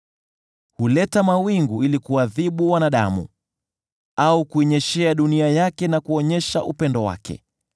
Huleta mawingu ili kuadhibu wanadamu, au kuinyeshea dunia yake na kuonyesha upendo wake.